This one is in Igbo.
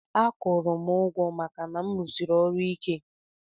Akwurum ugwo maka na mu rụsiri ọrụ ike.